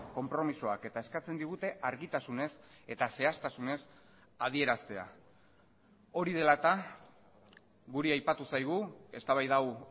konpromisoak eta eskatzen digute argitasunez eta zehaztasunez adieraztea hori dela eta guri aipatu zaigu eztabaida hau